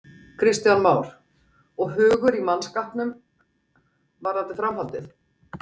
Kristján Már: Og hugur í mannskapnum varðandi framhaldið?